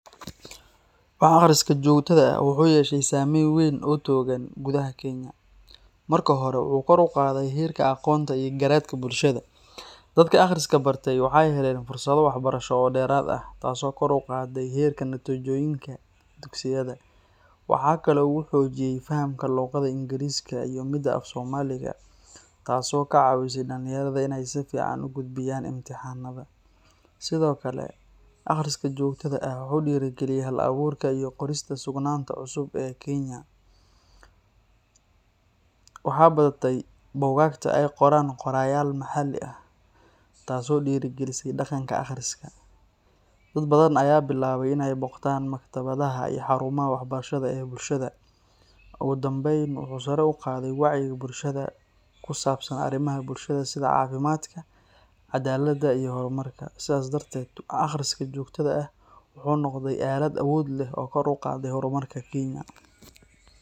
Wax akhriska joogtada ah wuxuu yeeshay saameyn weyn oo togan gudaha Kenya. Marka hore, wuxuu kor u qaaday heerka aqoonta iyo garaadka bulshada. Dadka akhriska bartay waxay heleen fursado waxbarasho oo dheeraad ah, taasoo kor u qaadday heerka natiijooyinka dugsiyada. Waxaa kale oo uu xoojiyey fahamka luqadda Ingiriisiga iyo midda af Soomaaliga, taas oo ka caawisay dhalinyarada inay si fiican u gudbiyaan imtixaannada. Sidoo kale, akhriska joogtada ah wuxuu dhiirrigeliyey hal-abuurka iyo qorista suugaanta cusub ee Kenya. Waxaa batay buugaagta ay qoraan qorayaal maxalli ah, taas oo dhiirrigelisay dhaqanka akhriska. Dad badan ayaa bilaabay inay booqdaan maktabadaha iyo xarumaha waxbarashada ee bulshada. Ugu dambeyn, wuxuu sare u qaaday wacyiga bulshada ku saabsan arrimaha bulshada sida caafimaadka, cadaaladda iyo horumarka. Sidaas darteed, wax akhriska joogtada ah wuxuu noqday aalad awood leh oo kor u qaadday horumarka Kenya.